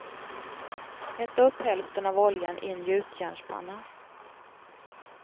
Hetta upp hälften av oljan i en gjutjärnspanna.